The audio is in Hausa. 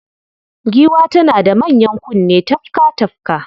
Giwa tana da manyan kunne tafka-tafka